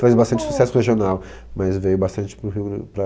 Faz bastante sucesso regional, mas veio bastante para o Rio e para